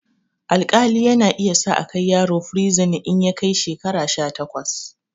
Alƙali yana iya sa akai yaro firizin in ya kai shekara sha takwas